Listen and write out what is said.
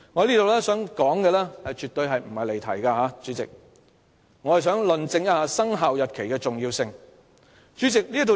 主席，我絕無離題，我只是想論證"生效日期"的重要性。